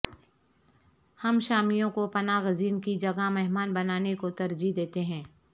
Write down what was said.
ہم شامیوں کو پناہ گزین کی جگہ مہمان بنانے کو ترجیح دیتے ہیں